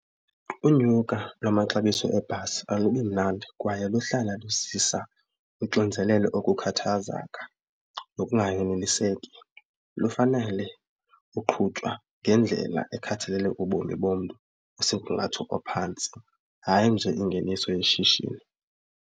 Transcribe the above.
Unyuka lwamaxabiso ebhasi alubi mnandi kwaye luhlala luzisa uxinzelelo, ukukhathazeka nokunganeliseki. Lufanele uqhutywa ngendlela ekhathalele ubomi bomntu osemgangatho ophantsi hayi nje ingeniso yeshishini.